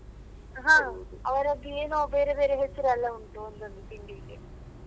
ಹ ಅವರದ್ದು ಏನೋ ಬೇರೆ ಬೇರೆ ಹೆಸ್ರೆಲ್ಲ ಉಂಟು ಒಂದೊಂದು ತಿಂಡಿಗೆ.